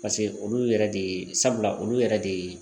paseke olu yɛrɛ de ye sabula olu yɛrɛ de ye